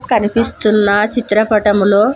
కనిపిస్తున్న చిత్రపటములో--